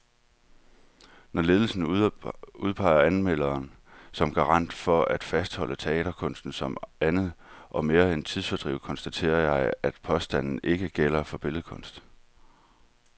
Når lederen udpeger anmelderen som garant for at fastholde teaterkunsten som andet og mere end tidsfordriv, konstaterer jeg, at påstanden ikke gælder for billedkunst.